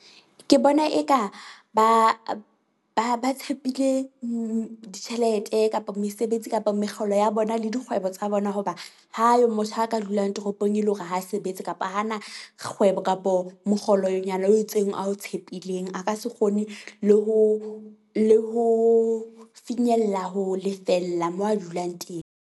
Ke bona eka ba ba ba tshepile ditjhelete kapa mesebetsi kapa mekgolo ya bona le dikgwebo tsa bona hoba ha ayo motho aka dulang toropong, e le hore ha sebetse kapa hana kgwebo kapo mokgolonyana o itseng ao tshepileng. A ka se kgone le ho le ho finyella ho lefella moo a dulang teng.